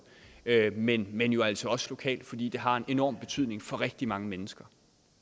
men men jo altså også lokalt fordi det har en enorm betydning for rigtig mange mennesker